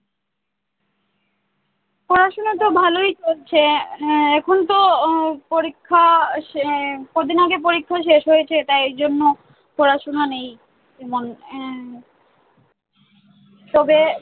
পড়াশোনাতো ভালই চলছে। হ্যাঁ এখনতো উহ পরীক্ষা আহ কদিন আগে পরীক্ষা শেষ হয়েছে, তাই জন্য পড়াশুনো নেই। এমন আহ তবে